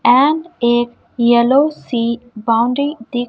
and एक yellow सी boundary दिख--